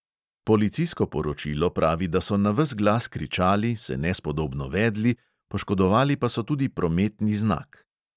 Policijsko poročilo pravi, da so na ves glas kričali, se nespodobno vedli, poškodovali pa so tudi prometni znak.